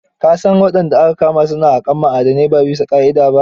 Ka san wadanda aka kama su na haƙar ma'adanai ba bisa ƙa'ida ba?